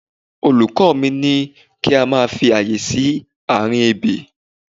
Olùkọ́ mi ní kí a máa fi àyè sí àárín ebè.